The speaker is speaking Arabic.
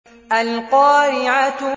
الْقَارِعَةُ